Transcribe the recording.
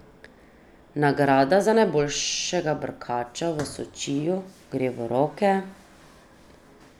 Nagrada za najboljšega brkača v Sočiju gre v roke ...